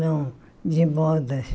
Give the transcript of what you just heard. Não, de modas.